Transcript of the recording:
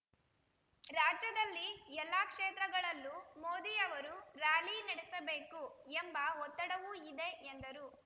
ರಾಜ್ಯದಲ್ಲಿ ಎಲ್ಲ ಕ್ಷೇತ್ರಗಳಲ್ಲೂ ಮೋದಿಯವರು ರ್‍ಯಾಲಿ ನಡೆಸಬೇಕು ಎಂಬ ಒತ್ತಡವೂ ಇದೆ ಎಂದರು